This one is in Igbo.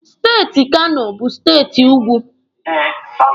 Steeti Kano bụ steeti ugwu.